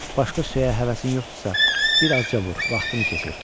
Başqa söyə həvəsin yoxdursa, bir azca vur vaxtını keçir, çıx gəl.